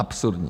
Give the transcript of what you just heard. Absurdní.